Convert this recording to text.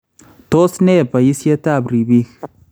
Tos ne bayisyeetab ribiik?